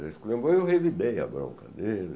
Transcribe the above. Ele se lembrou e eu revidei a bronca dele.